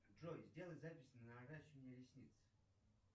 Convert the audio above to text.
джой сделай запись на наращивание ресниц